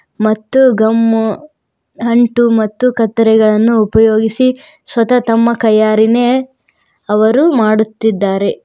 ಮತ್ತು ಗಮ್ಮು ಅಂಟು ಮತ್ತು ಕತ್ತರಿಗಳನ್ನು ಉಪಯೋಗಿಸಿ ಸ್ವತಃ ತಮ್ಮ ಕೈಯಾರೆನೇ ಅವರು ಮಾಡುತ್ತಿದ್ದಾರೆ.